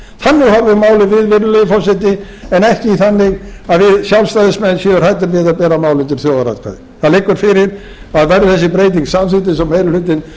virðulegi forseti en ekki þannig að við sjálfstæðismenn séum hræddir við að bera mál undir þjóðaratkvæði það liggur fyrir að verði þessi breyting samþykkt eins og meiri